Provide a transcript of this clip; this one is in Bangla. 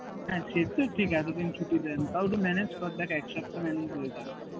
হ্যাঁ সেই তো ঠিক আছে এতদিন ছুটি দেয় না তাও তুই manage কর দেখ এক সপ্তাহ manage হয়ে যাবে